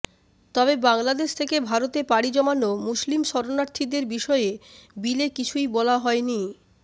তবে বাংলাদেশ থেকে ভারতে পাড়ি জমানো মুসলিম শরণার্থীদের বিষয়ে বিলে কিছুই বলা হয়নি